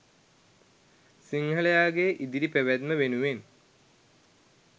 සිංහලයාගේ ඉදිරි පැවැත්ම වෙනුවෙන්.